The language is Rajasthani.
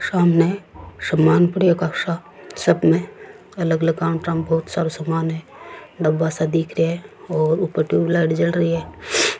सामने सामान पड़ी है बहोत सा सामने अलग अलग काउंटर पे बहोत सारा सामान है डब्बा सा दिख रेहा है और ऊपर टूबेलाइट जल रही है।